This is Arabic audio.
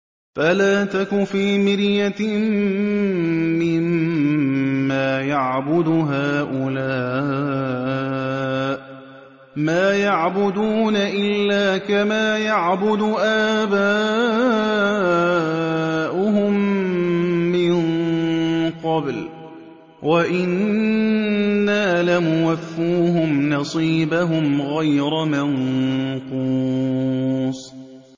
فَلَا تَكُ فِي مِرْيَةٍ مِّمَّا يَعْبُدُ هَٰؤُلَاءِ ۚ مَا يَعْبُدُونَ إِلَّا كَمَا يَعْبُدُ آبَاؤُهُم مِّن قَبْلُ ۚ وَإِنَّا لَمُوَفُّوهُمْ نَصِيبَهُمْ غَيْرَ مَنقُوصٍ